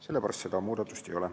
Sellepärast seda muudatust siin ei ole.